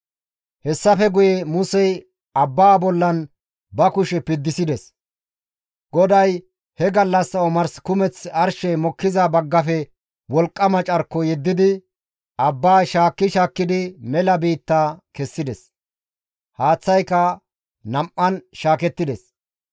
Hessafe guye Musey abbaa bollan ba kushe piddisides; GODAY he gallassa omars kumeth arshey mokkiza baggafe wolqqama carko yeddidi, abbaa shaakki shaakkidi mela biitta kessides. Haaththayka nam7an shaakettides.